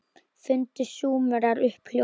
Fundu Súmerar upp hjólið?